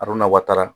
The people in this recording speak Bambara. A dun na watara